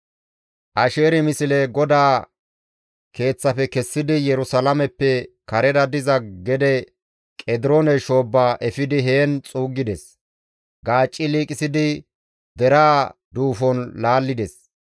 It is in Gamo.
Asheeri misle GODAA Keeththafe kessidi Yerusalaameppe karera diza gede Qediroone shoobba efidi heen xuuggides; gaacci liiqisidi deraa duufon laallides.